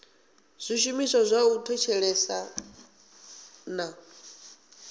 zwishumiswa zwa u thetshelesa na